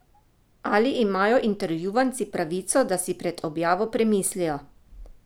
Ali imajo intervjuvanci pravico, da si pred objavo premislijo?